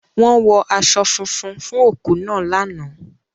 Wọ́n wọ aṣọ funfun fún òkú náà lánàá.